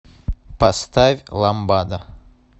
поставь ламбада